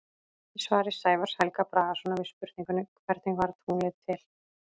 Í svari Sævars Helga Bragasonar við spurningunni Hvernig varð tunglið til?